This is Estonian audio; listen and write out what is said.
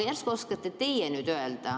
Järsku oskate teie midagi öelda?